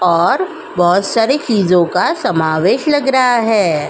और बोहोत सारी चीजों का समावेश लग रहा है।